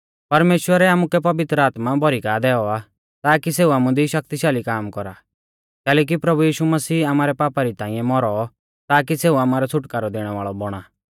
परमेश्‍वरै आमुकै पवित्र आत्मा भौरी का दैऔ आ ताकी सेऊ आमुदी शक्तिशाली काम कौरा कैलैकि प्रभु यीशु मसीह आमारै पापा री ताइंऐ मौरौ ताकी सेऊ आमारौ छ़ुटकारौ दैणै वाल़ौ बौणा